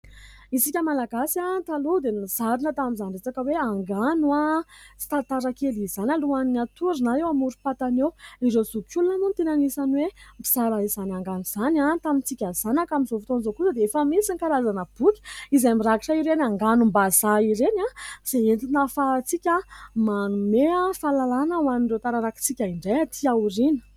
Isika malagasy taloha dia nozarina tamin'izany resaka hoe angano sy tantara kely izany alohany hatory na eo amorom-patana eo. Ireo zokiolona moa no tena anisany hoe mizara izany angano izany tamintsika zanaka. Amin'izao fotoan'izao kosa dia efa misy ny karazana boky izay mirakitra ireny anganom-bazaha ireny izay entina ahafahantsika manome fahalalàna ho an'ireo taranaka antsika indray atỳ aoriana.